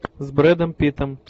с брэдом питтом